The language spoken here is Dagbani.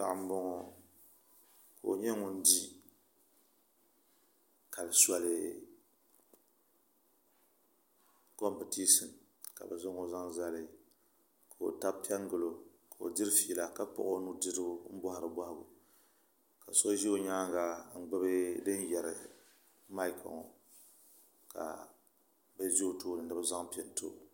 Paɣa n boŋo ka o nyɛ ŋun di kali soli kompitisin ka bi zaŋo zaŋ zali ka o tabi piɛ n gilo ka o diri fiila ka kpuɣi o nudirigu n bohari bohagu ka so ʒɛ o nyaanga ka gbubi maik ŋo ka bi ʒɛ o tooni ni bi zaŋ pini too